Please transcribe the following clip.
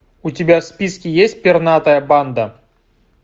у тебя в списке есть пернатая банда